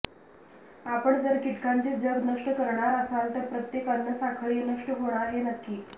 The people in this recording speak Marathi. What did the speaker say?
आपण जर कीटकांचे जग नष्ट करणार असाल तर प्रत्येक अन्नसाखळी नष्ट होणार हे नक्की